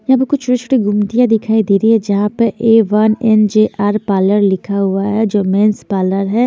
यहाँ पर कुछ दिखाई दे रही है जहाँ पर ए वन जो मेंस पार्लर है।